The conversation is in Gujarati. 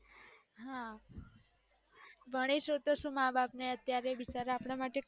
હા ભાનીસું તો સુ અત્યરે માં બાપ અપડા માટે કેટલું